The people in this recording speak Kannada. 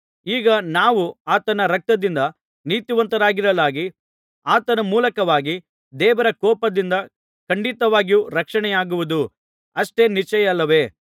ಈಗ ನಾವು ಆತನ ರಕ್ತದಿಂದ ನೀತಿವಂತರಾಗಿರಲಾಗಿ ಆತನ ಮೂಲಕವಾಗಿ ದೇವರ ಕೋಪದಿಂದ ಖಂಡಿತವಾಗಿಯೂ ರಕ್ಷಣೆಯಾಗುವುದು ಅಷ್ಟೇ ನಿಶ್ಚಯವಲ್ಲವೇ